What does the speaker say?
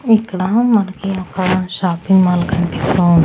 ఇక్కడ మనకి ఒక షాపింగ్ మాల్ కనిపిస్తూ--